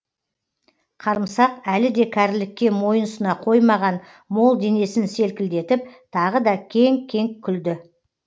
қарымсақ әлі де кәрілікке мойын сұна қоймаған мол денесін селкілдетіп тағы да кеңк кеңк күлді